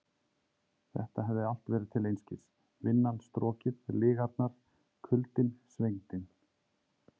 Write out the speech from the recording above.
Þetta hafði allt verið til einskis: Vinnan, strokið, lygarnar, kuldinn, svengdin.